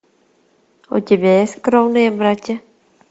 у тебя есть кровные братья